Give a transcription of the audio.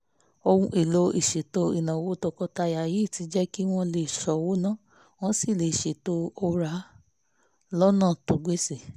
ohun èlò ìṣètò ìnáwó tọkọtaya yìí ti jẹ́ kí wọ́n lè ṣọ́wó ná wọ́n sì lè ṣètò òrà lọ́nà tó gbéṣẹ́